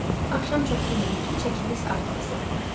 Axşam çox yemirik ki, çəkimiz artmasın.